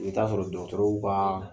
I be taa sɔrɔ dɔgɔtɔrɔw kaa